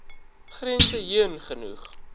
grense heen genoeg